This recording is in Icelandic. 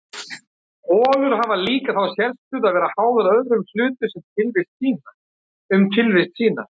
Holur hafa líka þá sérstöðu að vera háðar öðrum hlutum um tilvist sína.